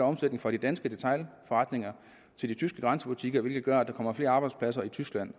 omsætning fra de danske detailforretninger til de tyske grænsebutikker hvilket gør at der kommer flere arbejdspladser i tyskland